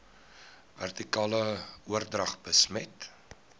vertikale oordrag besmet